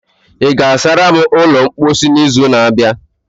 ị ga-asara m ulo mposi n'izu na-abịa?